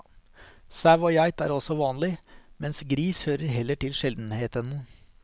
Sau og geit er også vanlig, mens gris hører heller til sjeldenhetene.